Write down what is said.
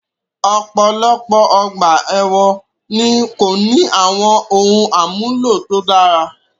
Ọ̀pọ̀lọpọ̀ ọgbà èwọ̀n ni kò ní àwọn ohun àmúlò tó dára